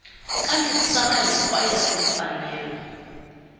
ka misava hinkwayo ka timfanelo